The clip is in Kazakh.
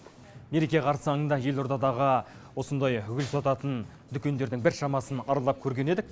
мереке қарсаңында елордадағы осындай гүл сататын дүкендердің біршамасын аралап көрген едік